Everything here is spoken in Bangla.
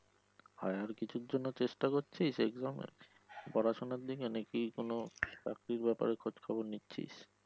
higher কিছুর জন্য চেষ্টার করছিস? exam এর পড়াশুনার দিকে নাকি চাকরির ব্যাপারে খোজখবর নিচ্ছিস?